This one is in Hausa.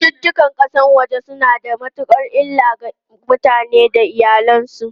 Cututtukan kasashen waje suna da matukar illa a kan mutane da iyalansu.